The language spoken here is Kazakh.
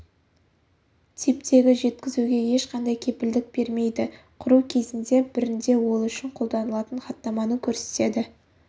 типтегі жеткізуге ешқандай кепілдік бермейді құру кезінде бірінде ол үшін қолданылатын хаттаманы көрсетеді